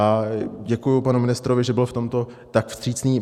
A děkuji panu ministrovi, že byl v tomto tak vstřícný.